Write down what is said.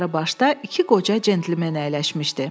Yuxarı başda iki qoca centlmen əyləşmişdi.